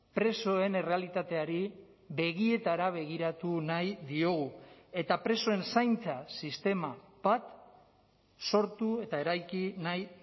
presoen errealitateari begietara begiratu nahi diogu eta presoen zaintza sistema bat sortu eta eraiki nahi